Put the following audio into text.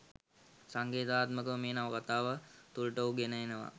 සංකේතාත්මකව මේ නවකතාව තුළට ඔහු ගෙන එනවා